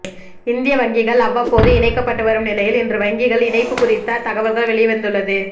இந்திய வங்கிகள் அவ்வப்போது இணைக்கப்பட்டு வரும் நிலையில் இன்று வங்கிகள் இணைப்பு குறித்த தகவல்கள் வெளிவந்துள்ளது